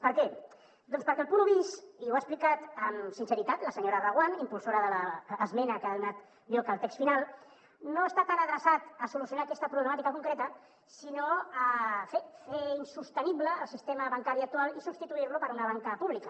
per què doncs perquè el punt un bis i ho ha explicat amb sinceritat la senyora reguant impulsora de l’es·mena que ha donat lloc al text final no està adreçat a solucionar aquesta problemà·tica concreta sinó a fer insostenible el sistema bancari actual i substituir·lo per una banca pública